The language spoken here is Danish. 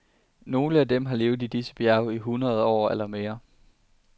Nogle af dem har levet i disse bjerge i hundrede år eller mere.